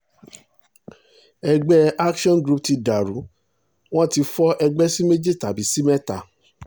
ẹgbẹ́ action group ti dàrú wọn ti fọ ẹgbẹ́ sí méjì tàbí sí mẹ́ta